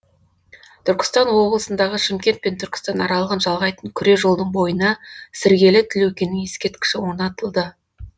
түркістан облысындағы шымкент пен түркістан аралығын жалғайтын күре жолдың бойына сіргелі тілеукенің ескерткіші онатылды